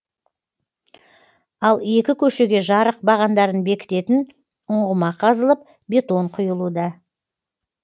ал екі көшеге жарық бағандарын бекітетін ұңғыма қазылып бетон құюлуда